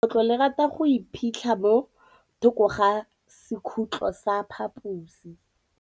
Legôtlô le rata go iphitlha mo thokô ga sekhutlo sa phaposi.